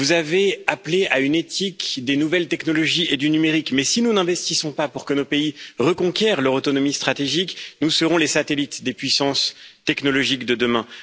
Vous avez appelé à une éthique des nouvelles technologies et du numérique, mais si nous n'investissons pas pour que nos pays reconquièrent leur autonomie stratégique, nous serons les satellites des puissances technologiques de demain.